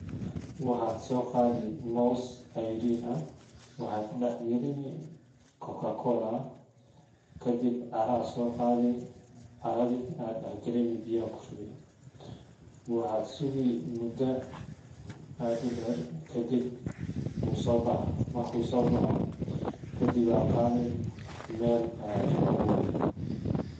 Waxad so qadi mos ceyrin ah, waxad dax galini coca cola, kadib cara aa so qadi caradi aa dax galini biyaha aa kushubi, waxad sugi muda ad u der kadib u so baxaah , marku so baxo kadib ad qadi mel aya ku aburi.